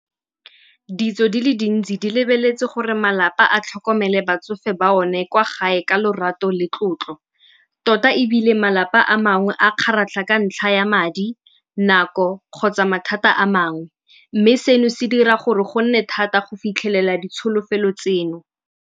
Ditso di le dintsi di lebeletse gore malapa a tlhokomele batsofe ba one kwa gae ka lorato le tlotlo. Tota ebile malapa a mangwe a kgaratlha ka ntlha ya madi, nako kgotsa mathata a mangwe. Mme seno se dira gore gonne thata go fitlhelela ditsholofelo tseno.